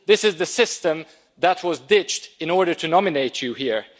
this is the system that was ditched in order to nominate you here.